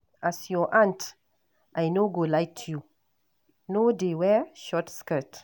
As your Aunt, I no go lie to you. No dey wear short skirt.